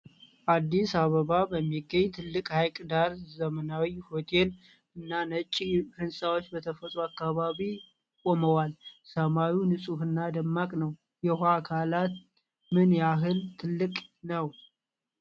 አዲስ አበባ በሚገኝ ትልቅ ሐይቅ ዳር ዘመናዊ ሆቴልና ነጭ ሕንፃዎች በተፈጥሮ አካባቢው ቆመዋል። ሰማዩ ንጹሕና ደማቅ ነው። የውሃው አካል ምን ያህል ትልቅ ነው?